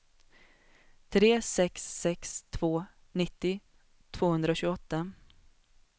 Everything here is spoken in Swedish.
tre sex sex två nittio tvåhundratjugoåtta